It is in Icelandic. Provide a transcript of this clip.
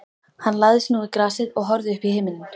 Hann lagðist nú í grasið og horfði uppí himininn.